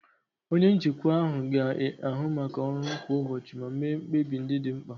Onye njikwa ahụ ga-ahụ maka ọrụ kwa ụbọchị ma mee mkpebi ndị dị mkpa.